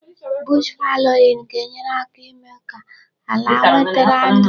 Bush fallowing ga-enyere aka ímé ka ala nwetara ndụ.